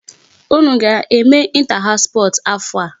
Unu aga-eme inter house sports afọ a?